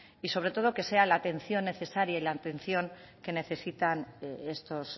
y sobre todo que sea la atención necesaria y la atención que necesitan estos